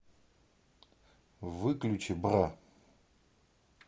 выключи бра